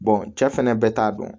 cɛ fɛnɛ bɛɛ t'a dɔn